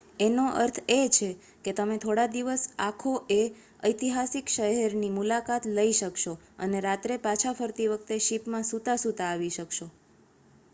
એનો અર્થ એ છે કે તમે થોડા દિવસ દિવસ આખો એ ઐતિહાસિક શહેરની મુલાકાત લઈ શકશો અને રાત્રે પાછા ફરતી વખતે શીપમાં સુતા-સુતા આવી શકશો